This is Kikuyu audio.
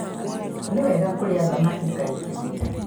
Nĩ wega kũrĩa thamaki kaingĩ.